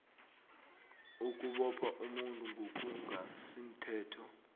ukubopha umuntu ngokungasimthetho